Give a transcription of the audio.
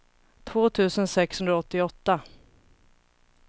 två tusen sexhundraåttioåtta